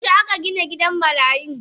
Yaushe akagina gidan marayun.?